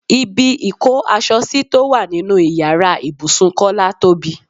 Ibi ìkó aṣọ sí tó wà nínú ìyára ibùsùn Kọ́lá tóbi.